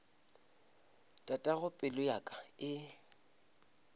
tatago pelo ya ka e